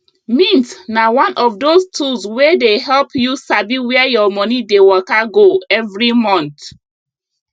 mint na one of those tools wey dey help you sabi where your money dey waka go every month